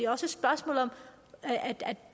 også et spørgsmål om